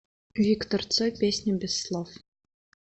виктор цой песня без слов